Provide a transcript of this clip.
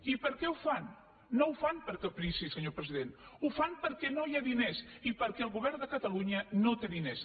i per què ho fan no ho fan per caprici senyor president ho fan perquè no hi ha diners i perquè el govern de catalunya no té diners